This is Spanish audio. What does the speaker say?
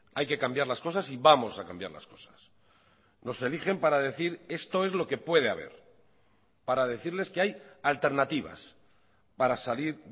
hay que cambiar las cosas y vamos a cambiar las cosas nos eligen para decir esto es lo que puede haber para decirles que hay alternativas para salir